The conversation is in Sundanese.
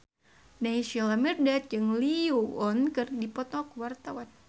Naysila Mirdad jeung Lee Yo Won keur dipoto ku wartawan